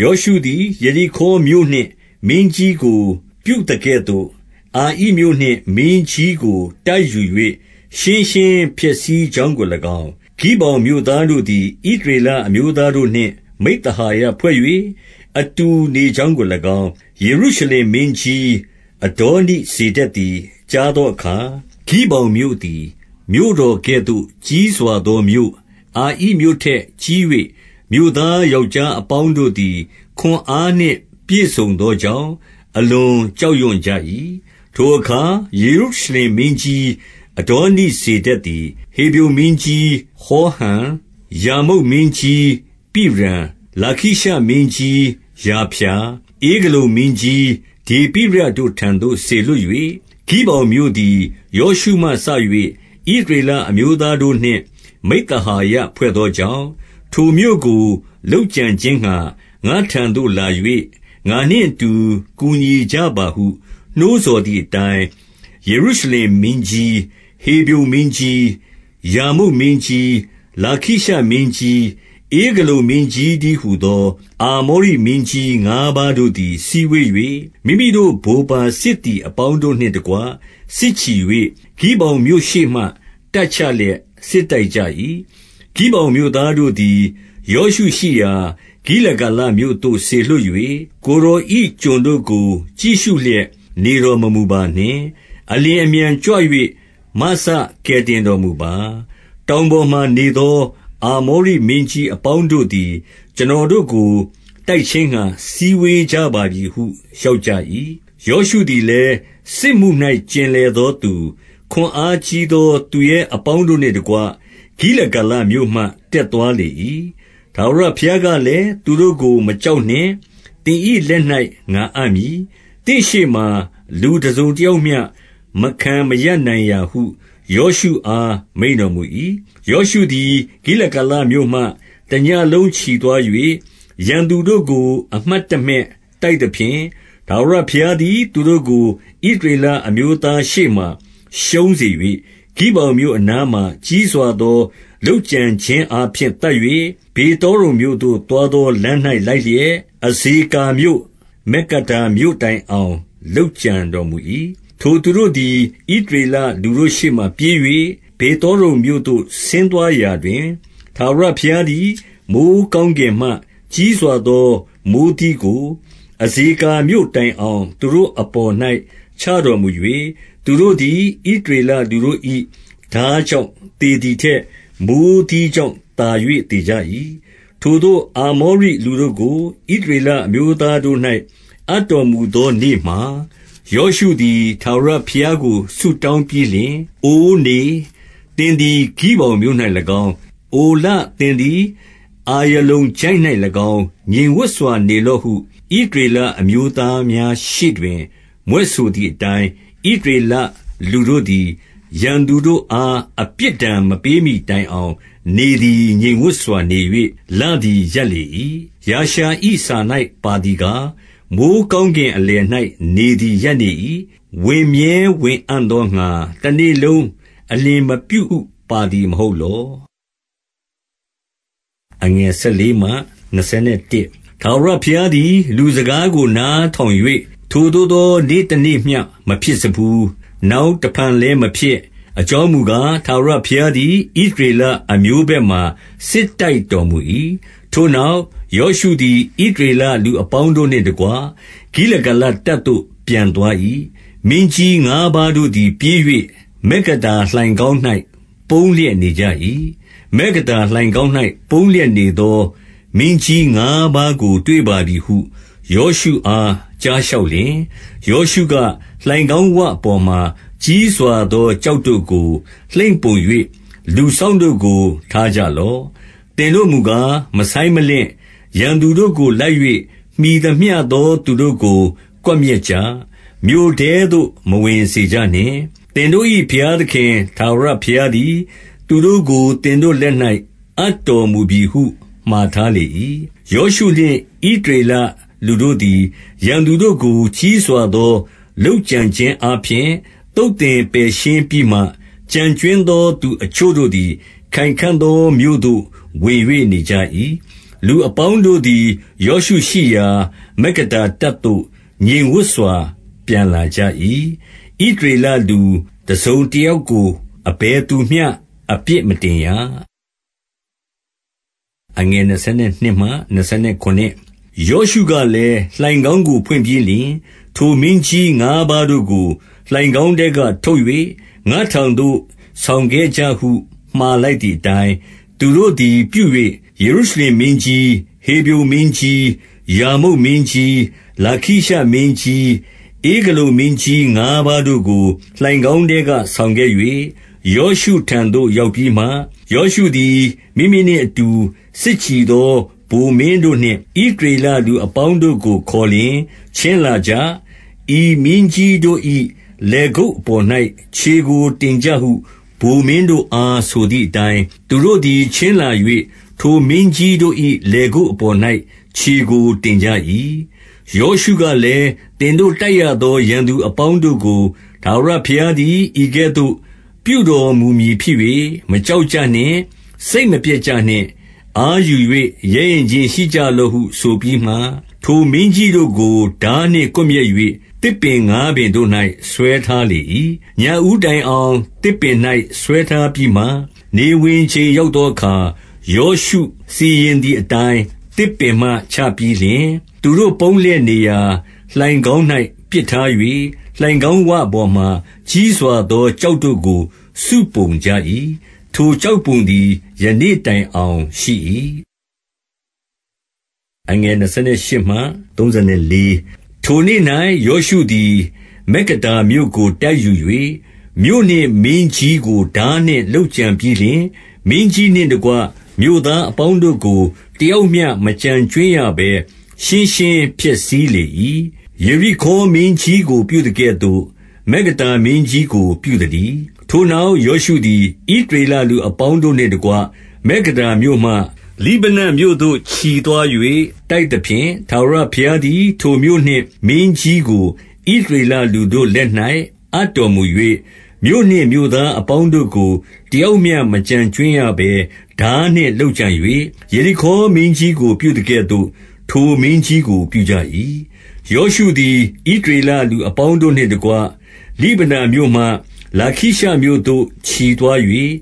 ယောရှုသည် ယေရိခေါမြို့နှင့် မင်းကြီးကို ပြုသ ကဲ့သို့၊ အာဣမြို့နှင့် မင်းကြီးကို တိုက်ယူ၍ ရှင်းရှင်းဖျက် ဆီးကြောင်းကို၎င်း၊ ဂိဗောင်မြို့သားတို့သည် ဣသရေလ အမျိုးသားတို့နှင့် မိဿဟာယဖွဲ့၍ အတူနေကြောင်းကို ၎င်း၊ ယေရုရှလင်မင်းကြီးအဒေါနိဇေဒက်သည် ကြား သောအခါ၊ 2 ဂိဗောင်မြို့သည် မြို့တော်ကဲ့သို့ ကြီးစွာသောမြို့၊ အာဣမြို့ထက်ကြီး၍ မြို့သားယောက်ျား အပေါင်းတို့ သည် ခွန်အားနှင့်ပြည့်စုံသောကြောင့် အလွန်ကြောက်ရွံ့ ကြ၏။ 3 ထိုအခါ ယေရုရှလင်မင်းကြီးအဒေါနိဇေဒက် သည်၊ ဟေဗြုန်မင်းကြီး ဟောဟံ၊ ယာမုတ်မင်းကြီးပိရံ၊ လာခိရှမင်းကြီးယာဖျာ၊ ဧဂလုန်မင်းကြီး ဒေပိရတို့ထံသို့ စေလွှတ်၍၊ 4 ဂိဗောင်မြို့သည် ယောရှုမှစ၍ ဣသရေလ အမျိုးသားတို့နှင့် မိဿဟာယဖွဲ့သောကြောင့်၊ ထိုမြို့ကို လုပ်ကြံခြင်းငှါ ငါ့ထံသို့လာ၍ ငါနှင့်အတူ ကူညီကြပါဟု နှိုးဆော်သည်အတိုင်း၊ 5 ယေရုရှလင်မင်းကြီး၊ ဟေဗြုန်မင်းကြီး၊ ယာမုတ်မင်းကြီး၊ လာခိရှမင်းကြီး၊ ဧဂလုန်မင်းကြီးတည်း ဟူသော အာမောရိမင်းကြီး ငါးပါးတို့သည် စည်းဝေး၍ မိမိတို့ဗိုလ်ပါစစ်သည် အပေါင်းတို့နှင့်တကွ စစ်ချီ၍၊ ဂိဗောင်မြို့ရှေ့မှာ တပ်ချလျက် စစ်တိုက်ကြ၏။ 6 ဂိဗောင်မြို့သားတို့သည် ယောရှုရှိရာ ဂိလဂါလ မြို့သို့ စေလွှတ်၍၊ ကိုယ်တော်၏ ကျွန်တို့ကို ကြည့်ရှုလျက် နေတော်မမူပါနှင့်။ အလျင်အမြန်ကြွ၍ မစကယ်တင် တော်မူပါ။ တောင်ပေါ်မှာနေသော အာမောရိမင်းကြီး အပေါင်းတို့သည် ကျွန်တော်တို့ကို တိုက်ခြင်းငှါ စည်းဝေး ကြပါပြီဟု လျှောက်ကြ၏။ 7 ယောရှုသည်လည်း၊ စစ်မှု၌ ကျင်လည်သောသူ၊ ခွန်အားကြီးသော သူရဲအပေါင်းတို့နှင့်တကွ၊ ဂိလဂါလမြို့မှ တက်သွားလေ၏။ 8 ထာဝရဘုရားကလည်း၊ သူတို့ကို မကြောက်နှင့်။ သင်၏လက်၌ ငါအပ်မည်။ သင့်ရှေ့မှာ လူတစုံတ ယောက်မျှ မခံမရပ်နိုင်ရာဟု ယောရှုအား မိန့်တော်မူ၏။ 9 ယောရှုသည် ဂိလဂါလမြို့မှ တညဉ့်လုံးချီသွား ၍၊ ရန်သူတို့ကို အမှတ်တမဲ့တိုက်လာသဖြင့်၊ 10 ထာဝရဘုရားသည် သူတို့ကို ဣသရေလအမျိုး သားရှေ့မှာ ရှုံးစေ၍၊ ဂိဗောင်မြို့အနားမှာ ကြီးစွာသော လုပ်ကြံခြင်းအားဖြင့် သတ်၍၊ ဗေသောရုံမြို့သို့ သွားသော လမ်း၌ လိုက်လျက်၊ အဇေကာမြို့၊ မက္ကဒါမြို့တိုင်အောင် လုပ်ကြံတော်မူ၏။ 11 ထိုသူတို့သည် ဣသရေလလူတို့ရှေ့မှာ ပြေး၍ ဗေသောရုန်မြို့သို့ ဆင်းသွားရာတွင်၊ ထာဝရဘုရားသည် မိုဃ်းကောင်းကင်မှ ကြီးစွာသော မိုဃ်းသီးကို အဇေကာ မြို့တိုင်အောင် သူတို့အပေါ်၌ ချတော်မူ၍၊ သူတို့သည် ဣသရေလလူတို့၏ ထားကြောင့် သေသည်ထက် မိုဃ်းသီး ကြောင့် သာ၍သေကြ၏။ 12 ထိုသို့ အာမောရိလူတို့ကို ဣသရေလအမျိုးသား တို့၌ အပ်တော်မူသောနေ့မှာ၊ ယောရှုသည် ထာဝရဘုရား ကို ဆုတောင်းပြီးလျှင်၊ အိုနေ သင်သည် ဂိဗောင်မြို့၌ ၎င်း၊ အိုလ သင်သည် အာယလုန်ချိုင့်၌၎င်း ငြိမ်ဝပ်စွာ နေလော့ဟု ဣသရေလအမျိုးသားများရှေ့တွင် မြွက်ဆို သည်အတိုင်း၊ 13 ဣသရေလ လူတို့သည် ရန်သူတို့အားအပြစ် ဒဏ်မပေးမှီတိုင်အောင်နေသည် ငြိမ်ဝပ်စွာနေ၍ လသည် ရပ်လေ၏။ ယာရှာ၏စာ၌ ပါသည်ကား၊ မိုဃ်း ကောင်းကင်အလယ်၌နေသည် ရပ်နေ၏။ ဝင်မြဲဝင်အံ့ သောငှါ တနေ့လုံး အလျင်မပြုဟု ပါသည်မဟုတ်လော။ 14 ထာဝရဘုရားသည် လူစကားကို နားထောင်၍၊ ထိုသို့သောနေ့တနေ့မျှ မဖြစ်စဖူး။ နောက်ဖန်လည်းဖြစ် မဖြစ်။ အကြောင်းမူကား၊ ထာဝရဘုရားသည် ဣသရေ လအမျိုးဘက်မှာ စစ်တိုက်တော်မူ၏။ 15 ထိုနောက်၊ ယောရှုသည်၊ ဣသရေလလူအပေါင်း တို့နှင့်တကွ၊ ဂိလဂါလတပ်သို့ ပြန်သွား၏။ 16 မင်းကြီးငါးပါးတို့သည် ပြေး၍ မက္ကဒါလိုင်ခေါင်း ၌ ပုန်းလျက်နေကြ၏။ 17 မက္ကဒါလိုင်ခေါင်း၌ ပုန်းလျက်နေသော မင်းကြီး ငါးပါးကို တွေ့ပါပြီဟု ယောရှုအား ကြားလျှောက်လျှင်၊ 18 ယောရှုက၊ လိုင်ခေါင်းဝပေါ်မှာ ကြီးစွာသော ကျောက်တို့ကို လှိမ့်ပုံ၍ လူစောင့်တို့ကို ထားကြလော့။ 19 သင်တို့မူကား မဆိုင်းမလင့်။ ရန်သူတို့ကို လိုက် ၍ မှီသမျှသောသူတို့ကို ကွပ်မျက်ကြ။ မြို့ထဲသို့ မဝင်စေ ကြနှင့်။ သင်တို့ဘုရားသခင် ထာဝရဘုရားသည် သူတို့ကို သင်တို့လက်၌ အပ်တော်မူပြီဟု မှာထားလေ၏။ 20 ယောရှုနှင့် ဣသရေလလူတို့သည် ရန်သူတို့ကို ကြီးစွာသော လုပ်ကြံခြင်းအားဖြင့် သုတ်သင်ပယ်ရှင်းပြီးမှ၊ ကျန်ကြွင်းသောသူအချို့တို့သည် ခိုင်ခံ့သောမြို့သို့ ဝင်၍ နေကြ၏။ 21 လူအပေါင်းတို့သည် ယောရှုရှိရာ မက္ကဒါတပ်သို့ ငြိမ်ဝပ်စွာ ပြန်လာကြ၏။ ဣသရေလလူ တစုံတယောက် ကို အဘယ်သူမျှ အပြစ်မတင်ရ။ 22 ယောရှုကလည်း၊ လိုင်ခေါင်းကို ဖွင့်ပြီးလျှင်၊ ထို မင်းကြီးငါးပါးတို့ကို လိုင်ခေါင်းထဲကထုတ်၍ ငါ့ထံသို့ ဆောင်ခဲ့ကြဟု မှာလိုက်သည်အတိုင်း၊ 23 သူတို့သည် ပြု၍၊ ယေရုရှလင်မင်းကြီး၊ ဟေဗြုန် မင်းကြီး၊ ယာမုတ်မင်းကြီး၊ လာခိရှမင်းကြီး၊ ဧဂလုန် မင်းကြီးငါးပါးတို့ကို လိုင်ခေါင်းထဲက ဆောင်ခဲ့၍၊ 24 ယောရှုထံသို့ ရောက်ပြီးမှ၊ ယောရှုသည် မိမိနှင့် အတူ စစ်ချီသော ဗိုလ်မင်းတို့နှင့် ဣသရေလလူအပေါင်း တို့ကို ခေါ်လျှင်၊ ချဉ်းလာကြ။ ဤမင်းကြီးတို့၏ လည်ကုပ် အပေါ်၌ ခြေကို တင်ကြဟု ဗိုလ်မင်းတို့အား ဆိုသည် အတိုင်း၊ သူတို့သည် ချဉ်းလာ၍ ထိုမင်းကြီးတို့၏ လည် ကုပ်အပေါ်၌ ခြေကို တင်ကြ၏။ 25 ယောရှုကလည်း သင်တို့တိုက်ရသော ရန်သူ အပေါင်းတို့ကို ထာဝရဘုရားသည် ဤကဲ့သို့ပြုတော်မူ မည်ဖြစ်၍ မကြောက်ကြနှင့်၊ စိတ်မပျက်ကြနှင့်။ အားယူ ၍ ရဲရင့်ခြင်းရှိကြလော့ဟု ဆိုပြီးမှ၊ 26 ထိုမင်းကြီးတို့ကို ထားနှင့်ကွပ်မျက်၍ သစ်ပင် ငါးပင်တို့၌ ဆွဲထားလေ၏။ ညဦးတိုင်အောင် သစ်ပင်၌ ဆွဲထားပြီးမှ၊ 27 နေဝင်ချိန်ရောက်သောအခါ၊ ယောရှုစီရင်သည် အတိုင်း သစ်ပင်မှချပြီးလျှင်၊ သူတို့ပုန်းလျက်နေရာ လိုင် ခေါင်း၌ ပစ်ထား၍၊ လိုင်ခေါင်းဝပေါ်မှာ ကြီးစွာသော ကျောက်တို့ကို စုံပုံကြ၏။ ထိုကျောက်ပုံသည် ယနေ့တိုင် အောင်ရှိ၏။ 28 ထိုနေ့၌ ယောရှုသည် မက္ကဒါမြို့ကို တိုက်ယူ၍ မြို့နှင့် မင်းကြီးကို ထားနှင့်လုပ်ကြံပြီးလျှင်၊ မင်းကြီးနှင့် တကွ မြို့သားအပေါင်းတို့ကို တယောက်မျှ မကျန်ကြွင်းရ ဘဲ ရှင်းရှင်းဖျက်ဆီးလေ၏။ ယေရိခေါမင်းကြီးကို ပြုသကဲ့ သို့ မက္ကဒါမင်းကြီးကို ပြုသတည်း။ 29 ထိုနောက် ယောရှုသည်၊ ဣသရေလလူအပေါင်း တို့နှင့်တကွ၊ မက္ကဒါမြို့မှ လိဗနမြို့သို့ချီသွား၍ တိုက်သဖြင့်၊ 30 ထာဝရဘုရားသည် ထိုမြို့နှင့် မင်းကြီးကို ဣသ ရေလလူတို့လက်၌ အပ်တော်မူ၍၊ မြို့နှင့် မြို့သားအ ပေါင်းတို့ကို တယောက်မျှမကျန်ကြွင်းရဘဲ ထားနှင့်လုပ် ကြံ၍၊ ယေရိခေါမင်းကြီးကို ပြုသကဲ့သို့ ထိုမင်းကြီးကို ပြုကြ၏။ 31 ယောရှုသည် ဣသရေလလူအပေါင်းတို့နှင့် တကွ၊ လိဗနမြို့မှ လာခိရှမြို့သို့ ချီသွား၍